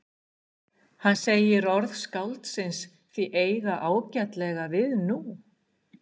Hann segir orð skáldsins því eiga ágætlega við nú?